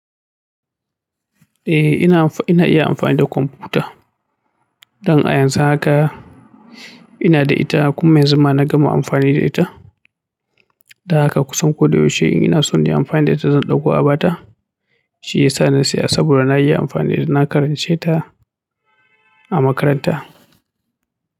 Eh ina, ina amfani da kwamfuta don a yanzu haka ina da ita kuma yanzu na gama amfani da ita. Da haka kusan koyaushe ina so in yi amfani da ita, zan ɗauko abata, shi yasa na siya saboda na iya amfani da ita. Na karance ta a makaranta.